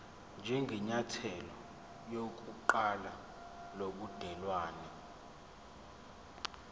njengenyathelo lokuqala lobudelwane